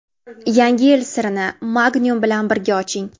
"Yangi yil siri"ni Magnum bilan birga oching!.